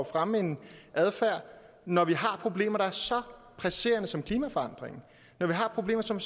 fremme en adfærd når vi har problemer der er så presserende som klimaforandringen og når vi har problemer som